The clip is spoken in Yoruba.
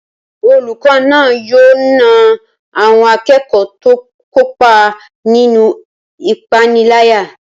Olùkọ́ náà yóò na àwọn akẹ́kọ̀ọ́ tó kópa nínú ìpániláyà